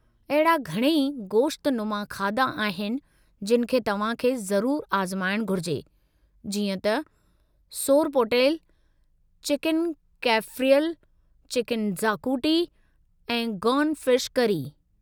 अहिड़ा घणई गोश्तनुमा खाधा आहिनि जिनि खे तव्हां खे ज़रूरु आज़माइणु घुरिजे जीअं त सोरपोटेल, चिकन कैफ़्रियल, चिकन ज़ाकुटी ऐं गौन फिश करी।